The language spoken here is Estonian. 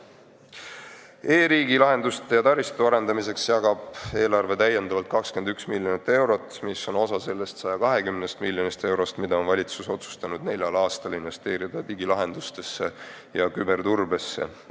E-riigi lahenduste ja taristu arendamiseks jagab eelarve täiendavalt 21 miljonit eurot, mis on osa sellest 120 miljonist eurost, mis valitsus on otsustanud neljal aastal investeerida digilahendustesse ja küberturbesse.